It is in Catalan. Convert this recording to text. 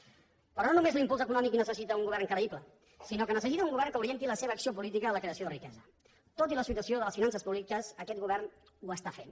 però no només l’impuls econòmic necessita un govern creïble sinó que necessita un govern que orienti la seva acció política a la creació de riquesa tot i la situació de les finances públiques aquest govern ho està fent